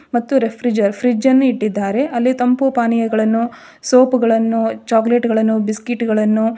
ಮತ್ತು refrigerator fridge ಅನ್ನು ಇಟ್ಟಿದ್ದಾರೆ ಅಲ್ಲಿ ತಂಪು ಪಾನೀಯಗಳನ್ನು ಸೋಪ್ ಗಳನ್ನೂ ಚಾಕ್ಲೆಟ್ ಗಳನ್ನೂ ಬಿಸ್ಕೆಟ್ ಗಳನ್ನು .